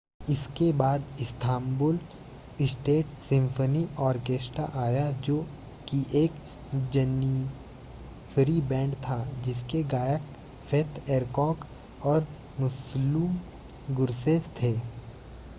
इसके बाद Istanbul state symphony orchestra आया जो कि एक जनिसरी बैंड था जिसके गायक फेथ एरकोक और मुस्लुम गुरसेस थे